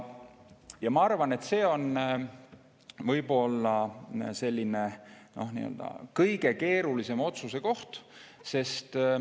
Ja ma arvan, et see on võib-olla selline kõige keerulisem otsuse koht.